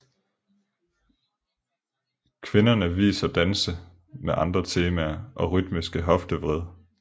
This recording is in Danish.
Kvinderne viser danse med andre temaer og rytmiske hoftevrid